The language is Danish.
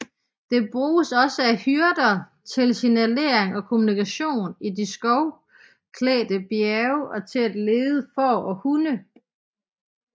Det bruges også af hyrder til signalering og kommunikation i de skovklædte bjerge og til at lede får og hunde